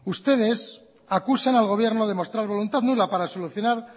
ustedes acusan al gobierno de mostrar voluntad para solucionar